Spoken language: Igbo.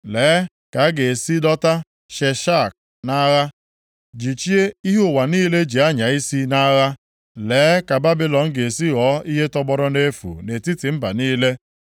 “Lee ka a ga-esi dọta Sheshak nʼagha, jichie ihe ụwa niile ji anya isi nʼagha. Lee ka Babilọn ga-esi ghọọ ihe tọgbọrọ nʼefu nʼetiti mba niile!